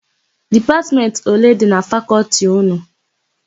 Dipatmentị ole dị na Fakọltị ụnụ?